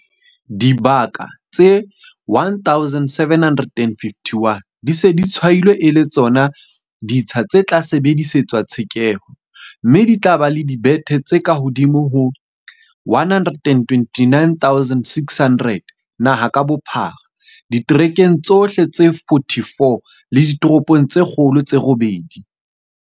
Dibaka tse 1 751 di se di tshwailwe e le tsona ditsha tse tla sebedisetswa tshekeho, mme di tla ba le dibethe tse kahodimo ho 129 600 naha ka bophara, diterekeng tsohle tse 44 le ditoropong tse kgolo tse robedi.